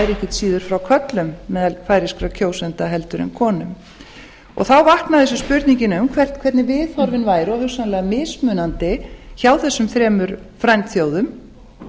síður frá körlum meðal færeyskra kjósenda en konum þá vaknaði þessi spurning um hvernig viðhorfin væru hugsanlega mismunandi hjá þessum þremur frændþjóðum